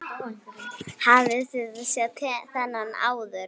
Hafið þið séð þennan áður?